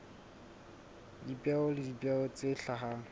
dipeo le dipeo tse hlahang